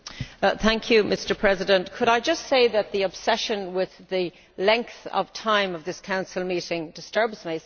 Mr President, could I just say that the obsession with the length of time of this Council meeting disturbs me somewhat?